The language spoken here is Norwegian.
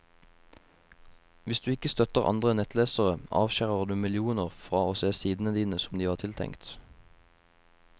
Hvis du ikke støtter andre nettlesere, avskjærer du millioner fra å se sidene dine som de var tiltenkt.